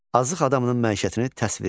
Azıq adamının məişətini təsvir edin.